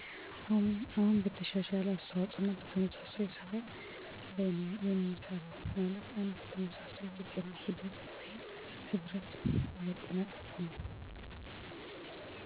አይደሉም በተመሳሳይ ስራ ላይ ነው እማሳልፈው